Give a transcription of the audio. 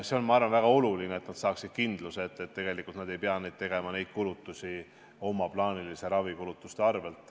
See on, ma arvan, väga oluline, et nad saaksid kindluse, et nad ei pea tegema neid kulutusi oma plaaniliste ravikulutuste arvel.